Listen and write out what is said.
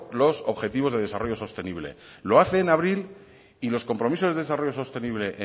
los objetivos de desarrollo sostenible lo hace en abril y los compromisos de desarrollo sostenible